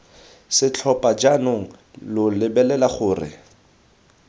setlhopha jaanong lo lebelela gore